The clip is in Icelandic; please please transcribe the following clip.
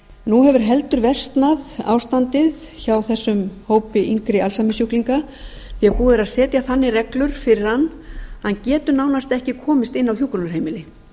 nú hefur heldur versnað ástandið hjá þessum hópi yngri alzheimersjúklinga því búið er að setja þannig reglur fyrir hann að hann geti nánast ekki komist inn á hjúkrunarheimili